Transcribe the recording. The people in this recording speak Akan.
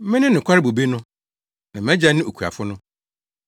“Mene nokware bobe no, na mʼAgya ne okuafo no.